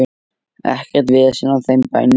Ekkert vesen á þeim bænum.